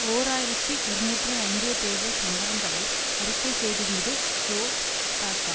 ஓர் ஆயிரத்தி இருநூற்றி ஐம்பது தேர்தல் சம்பவங்களை அறிக்கை செய்திருந்தது சோ ச க